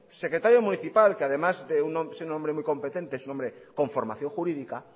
secretario municipal que además de ser un hombre muy competente es un hombre con formación jurídica